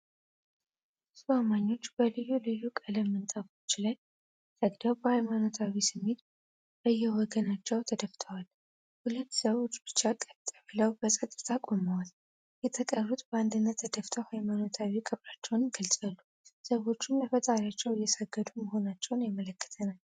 ብዙ አማኞች በልዩ ልዩ ቀለም ምንጣፎች ላይ ሰግደው፤ በሃይማኖታዊ ስሜት በየወገናቸው ተደፍተዋል። ሁለት ሰዎች ብቻ ቀጥ ብለው በጸጥታ ቆመዋል፤ የተቀሩት በአንድነት ተደፍተው ሃይማኖታዊ ክብራቸውን ይገልጻሉ። ሰዎቹም ለፈጣሪያቸው እየሰጉ መሆናቸውን ያስመለክተናል።